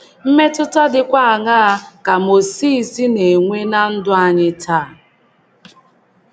Mmetụta dịkwa aṅaa ka Mozis na - enwe ná ndụ anyị taa?